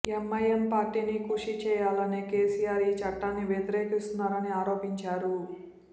MIM పార్టీని ఖుషీ చేయాలనే కేసీఆర్ ఈ చట్టాన్ని వ్యతిరేకిస్తున్నారని ఆరోపించారు